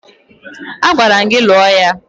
Agwara m gị lụọ ya!